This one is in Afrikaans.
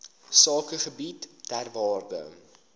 sakegebiede ter waarde